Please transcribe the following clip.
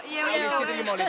já